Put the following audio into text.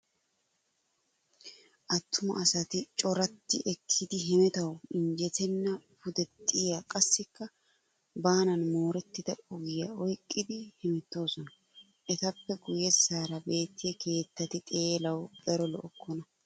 Attuma asati coratti ekkidi hemetawu injjetenna pudexxiya qassikka baanan moorettida ogiya oyqqidi hemettoosona. Etappe guyyessaara beettiya keettati xeelawu daro lo'okkona.